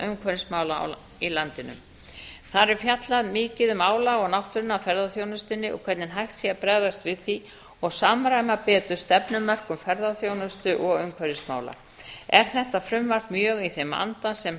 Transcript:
umhverfismála í landinu þar er fjallað mikið um álag á náttúruna í ferðaþjónustunni og hvernig hægt sé að bregðast við því og samræma betur stefnumörkun ferðaþjónustu og umhverfismála er þetta frumvarp mjög í þeim anda sem þar